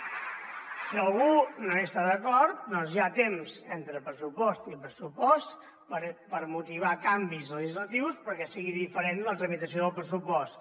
si algú no hi està d’acord hi ha temps entre pressupost i pressupost per motivar canvis legislatius perquè sigui diferent la tramitació del pressupost